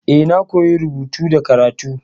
Eh, na koya rubutu da karatu.